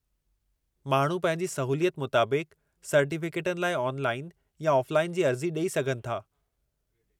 माण्हू पंहिंजी सहूलियत मुताबिक़ु सर्टीफिकेटनि लाइ ऑनलाइन या ऑफ़लाइन जी अर्ज़ी ॾेई सघनि था।